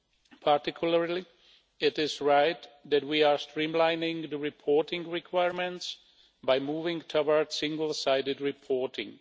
In particular, it is right that we are streamlining the reporting requirements by moving toward single sided reporting.